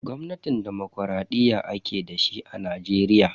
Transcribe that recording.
Gwamnatin dimokuraɗiyya ake dashi a Najeriya.